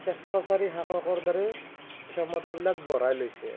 স্বেচ্ছাচাৰী শাসকৰ দৰে ক্ষমতা বিলাক বঢ়াই লৈছে।